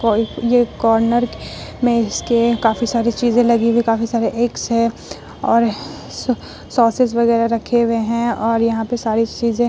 और ये कार्नर में इसके काफी सारी चीज़े लगी हुई काफी सारी एक्स है और सॉसेस वगैरा रखे हुए हैं और यहाँ पे सारी चीज़े --